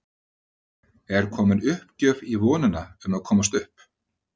Er komin uppgjöf í vonina um að komast upp?